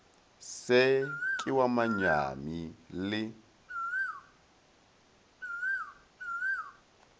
se ke wa manyami le